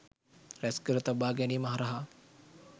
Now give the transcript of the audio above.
රැස්කර තබා ගැනීම හරහා